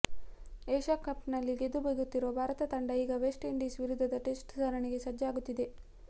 Asia cup ನಲ್ಲಿ ಗೆದ್ದು ಬೀಗುತ್ತಿರುವ ಭಾರತ ತಂಡ ಈಗ ವೆಸ್ಟ್ ಇಂಡೀಸ್ ವಿರುದ್ಧದ ಟೆಸ್ಟ್ ಸರಣಿಗೆ ಸಜ್ಜಾಗುತ್ತಿದೆ